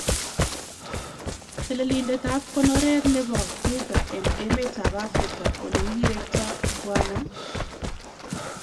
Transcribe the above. Telelindetab konoreet nebo Kruger en emeetab Afrika olee kirektaa Bw.